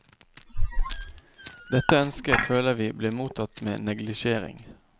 Dette ønsket føler vi blir mottatt med neglisjering.